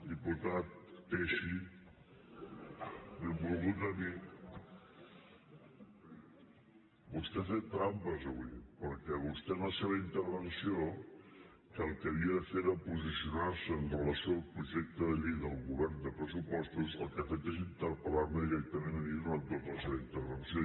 diputat teixi benvolgut amic vostè ha fet trampes avui perquè vostè en la seva intervenció que el que havia de fer era posicionar·se amb relació al projecte de llei del govern de pressupostos el que ha fet és interpel·lar·me directament a mi durant tota la seva intervenció